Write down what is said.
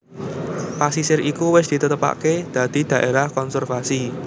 Pasisir iku wis ditetepaké dadi dhaérah konservasi